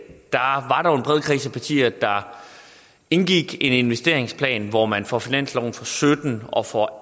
partier der indgik en investeringsplan hvor man for finansloven for sytten og for